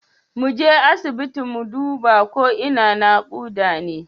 Mu je asibiti mu duba ko kina nakuda ne.